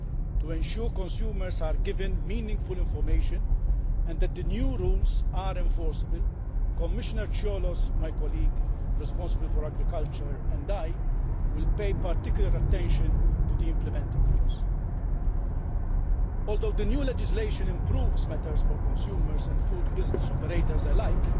To ensure that consumers are given meaningful information and that the new rules are enforceable, Commissioner Cioloş my colleague responsible for Agriculture and I will pay particular attention to the implementing rules. Although the new legislation improves matters for consumers and food business operators alike,